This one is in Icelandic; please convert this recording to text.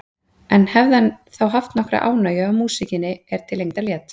En hefði hann þá haft nokkra ánægju af músíkinni er til lengdar lét?